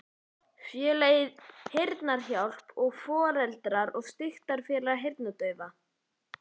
Félagið Heyrnarhjálp og Foreldra- og styrktarfélag heyrnardaufra